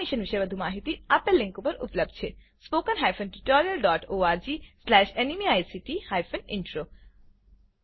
આ મિશન પર વધુ માહીતી આપેલ લીંક પર ઉપલબ્ધ છે spoken hyphen tutorial dot org slash nmeict hyphen intro